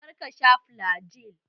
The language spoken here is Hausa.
Kar ka sha falagil!